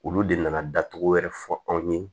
Olu de nana datugu wɛrɛ fɔ anw ye